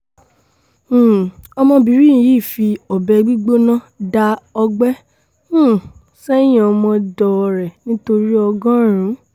um ọmọbìnrin yìí fi ọbẹ̀ gbígbóná dá ọgbẹ́ um sẹ́yìn ọmọọ̀dọ̀ ẹ̀ nítorí ọgọ́rùn